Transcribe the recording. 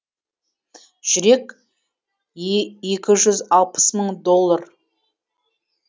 жүрек екі жүз алпыс мың доллар